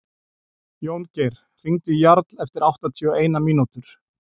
Jóngeir, hringdu í Jarl eftir áttatíu og eina mínútur.